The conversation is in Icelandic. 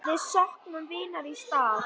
Við söknum vinar í stað.